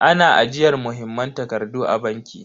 Ana ajiyar muhimman takardu a banki.